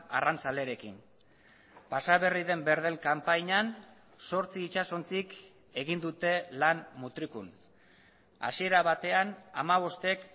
arrantzalerekin pasa berri den berdel kanpainan zortzi itsasontzik egin dute lan mutrikun hasiera batean hamabostek